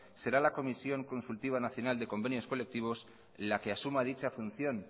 será la comisión consultiva nacional de convenios colectivos la que asuma dicha función